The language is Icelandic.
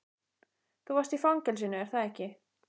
Þú varst í fangelsinu, er það ekki?